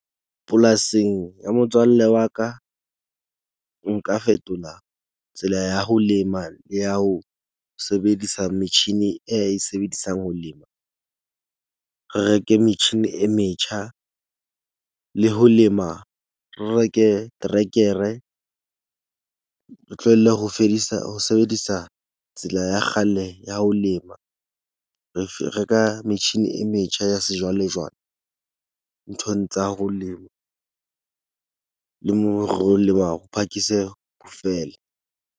Polasing ya motswalle wa ka, nka fetola tsela ya ho lema ya ho sebedisa metjhini e a e sebedisang ho lema. Re reke metjhini e metjha le ho lema re reke trekere. Re tlohelle ho fedisa ho sebedisa tsela ya kgale ya ho lema. Re reka metjhini e metjha ya sejwalejwale nthong tsa ho lema. Le mo re o leba ho phakise ho fele.